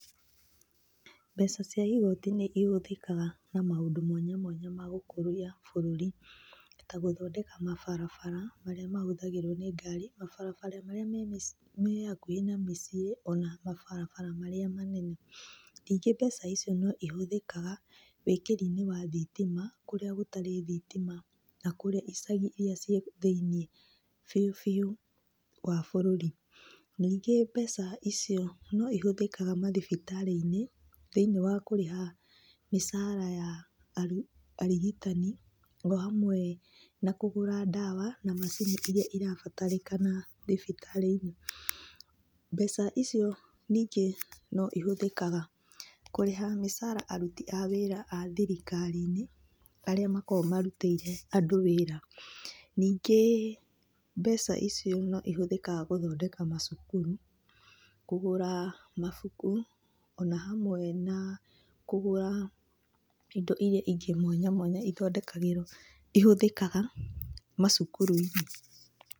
Mbeca cia igoti nĩ ihũthĩkaga na maũndũ mwanya mwanya ma gũkũria bũrũri, ta gũthondeka mabarabara marĩa mahũthagĩrwo nĩ ngari, mabarabara marĩa me hakuhĩ na mĩciĩ, ona mabarabara marĩa manene. Ningĩ mbeca icio no cihũthĩkaga wĩkĩri-inĩ wa thitima kũrĩa gũtarĩ thitima ta kũrĩa icagi irĩa i kũrĩa thĩiniĩ biũ biũ wa bũrũri. Ningĩ mbeca icio no ihũthĩkaga mathibitarĩ-inĩ thĩiniĩ wa kũrĩha mĩcara ya arigitani o hamwe na kũgũra ndawa na macini iria irabatarĩkana thibitarĩ-inĩ. Mbeca icio ningĩ no ihũthĩkaga kũrĩha mĩcara aruti a wĩra a thirikari-inĩ arĩa makoragwo marutĩire andũ wĩra. Ningĩ mbeca icio no ihũthĩkaga gũthondeka macukuru, kũgũra mabuku ona hamwe na kũgũra indo ingĩ mwanya mwanya ithondekagĩrwo, ihũthĩkaga macukuru-inĩ.